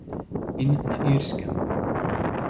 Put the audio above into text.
In na Irskem.